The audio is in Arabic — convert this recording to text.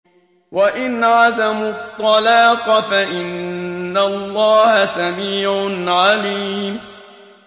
وَإِنْ عَزَمُوا الطَّلَاقَ فَإِنَّ اللَّهَ سَمِيعٌ عَلِيمٌ